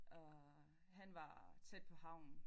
Og han var tæt på havnen